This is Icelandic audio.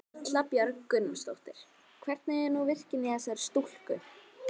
Erla Björg Gunnarsdóttir: Hvernig er nú virknin í þessari stúlku?